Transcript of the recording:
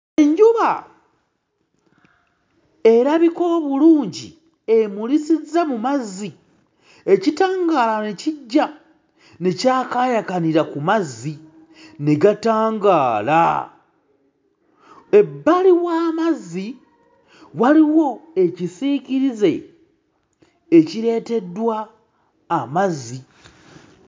Enjuba erabika obulungi emulisizza mu mazzi, ekitangaala ne kijja ne kyakaayakanira ku mazzi ne gatangaala, ebbali w'amazzi waliwo ekisiikirize ekireeteddwa amazzi.